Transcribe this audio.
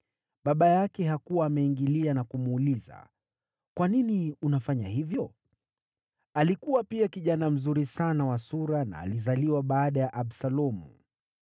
(Baba yake hakuwa ameingilia na kumuuliza, “Kwa nini unafanya hivyo?” Alikuwa pia kijana mzuri sana wa sura, na alizaliwa baada ya Absalomu.)